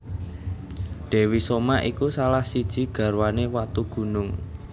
Dewi Soma iku salah siji garwane Watugunung